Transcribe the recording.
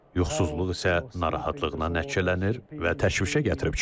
Yuxusuzluq isə narahatlıqla nəticələnir və təşvişə gətirib çıxarır.